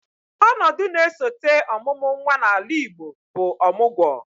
Ọnọdụ na-esote ọmụmụ nnwa n'ala Igbo bụ ọmụgwọ